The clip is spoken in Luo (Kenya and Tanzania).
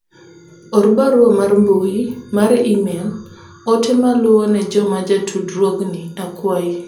or barua mar mbui mar email ote maluwo ne joma ja tudruogni akwayi